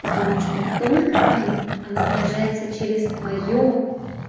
потому что только твоё оно выражается через твоё